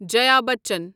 جایا بَچن